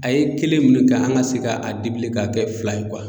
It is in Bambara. A ye kelen ninnu ne kɛ an ka se ka a k'a kɛ fila ye